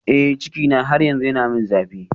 Eh cikina har yanzu yana min zafi